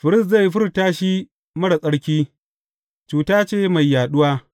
Firist zai furta shi marar tsarki; cuta ce mai yaɗuwa.